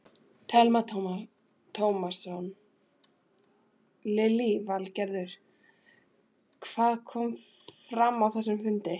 Telma Tómasson: Lillý Valgerður, hvað kom fram á þessum fundi?